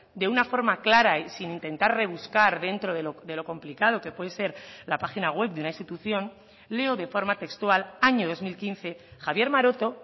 de una forma clara y sin intentar rebuscar dentro de lo complicado que puede ser la página web de una institución leo de forma textual año dos mil quince javier maroto